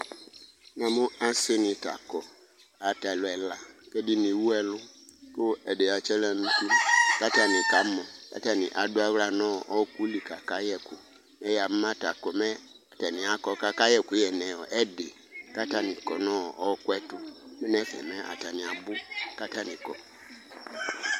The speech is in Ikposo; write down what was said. Asini kɔ atalʋ ɛla kɔ ɛdini ɛwʋ ɛlʋ kʋ ɛdi atsi aɣla nʋ ʋti kʋ atani kamɔ kʋ atani adʋ aɣla nʋ ɔkʋli kʋ akayɛ ɛkʋ amʋma ta komɛ atani kɔ kʋ akayɛ ɛkʋ nʋ ɛdi kʋ atani kɔnʋ ɔkʋɛtʋ nʋ ɛfɛ atani abʋ kʋ atani kɔ